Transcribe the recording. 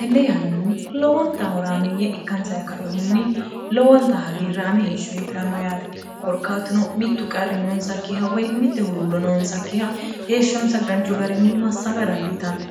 tenne yannanni lowonta horaameeyye ikkansa kaehunni lowonta hagiirraame heeshsho heedhanno yaate korkaatuno mittu qarri noonsakkiha woy mitte huluullo noonsakkiha heeshshoonsa danchu garinni massaga dandiitanni